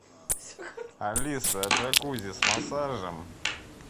алиса джакузи с массажем